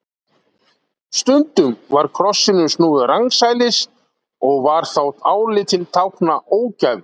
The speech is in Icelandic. Stundum var krossinum snúið rangsælis og var þá álitinn tákna ógæfu.